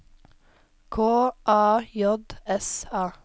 K A J S A